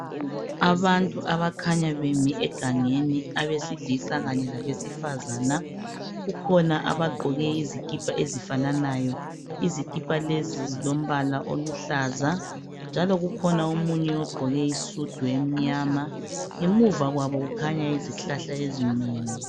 Abantu abakhanya bemi egangeni abesilisa kanye labesifazana. Kukhona abagqoke izikipa ezifananayo, izikipa lezi zilombala oluhlaza njalo kukhona omunye ogqqoke isudu emnyama. Ngemuva kwabo kukhanya izihlahla ezinengi